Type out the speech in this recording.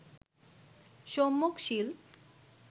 সম্যক শীল